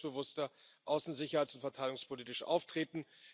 Wir müssen selbstbewusster außen sicherheits und verteidigungspolitisch auftreten.